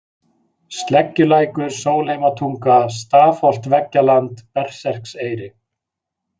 Sleggjulækur, Sólheimatunga, Stafholtveggjaland, Berserkseyri